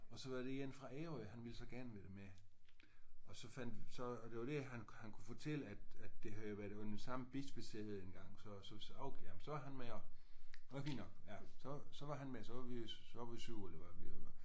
Og så var der en fra Ærø han ville så gerne være med og så fandt så og det var det han han kunne fortælle at at det havde jo været under samme bispesæde engang så og så vi sagde okay jamen så er han med også det var fint nok ja så så var han med så var vi 7 eller hvad vi var